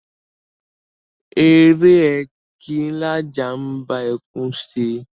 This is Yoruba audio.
Eré e kí lajá ḿ bá ẹkùn ṣe?